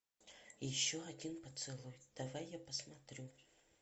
еще один поцелуй давай я посмотрю